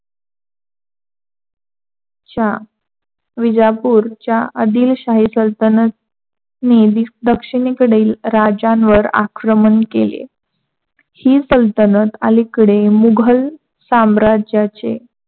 च्या वीजापूरच्या आदिलशाही सल्तनतनी दक्षिनेकडील राज्यांवर आक्रमण केले, हि सल्तनत अलीकडे मुघल साम्राज्याचे